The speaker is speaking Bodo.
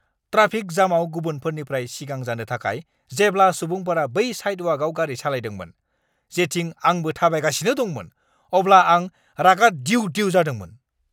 ट्राफिक जामाव गुबुनफोरनिफ्राय सिगां जानो थाखाय जेब्ला सुबुंफोरा बै साइदवाकआव गारि सालायदोंमोन, जेथिं आंबो थाबायगासिनो दंमोन, अब्ला आं रागा दिउ-दिउ जादोंमोन।